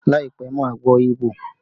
Láìpẹ́, màá gbọ́ Igbo